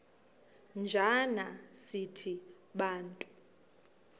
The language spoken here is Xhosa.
njana sithi bantu